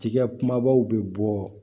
Tigɛ kumabaw bɛ bɔ